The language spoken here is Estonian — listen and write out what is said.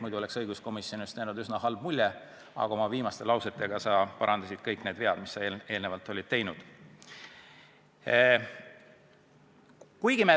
Muidu oleks õiguskomisjonist jäänud üsna halb mulje, aga oma viimaste lausetega sa parandasid kõik need vead, mis sa eelnevalt tegid.